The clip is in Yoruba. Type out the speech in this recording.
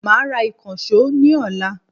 Máa ra ìkànsó ní ọ̀la